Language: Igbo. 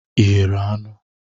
Ị ghere anụ?